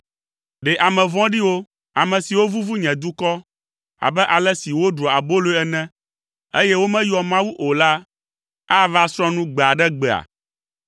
Ɖe ame vɔ̃ɖiwo, ame siwo vuvu nye dukɔ abe ale si woɖua aboloe ene, eye womeyɔa Mawu o la ava srɔ̃ nu gbe aɖe gbea?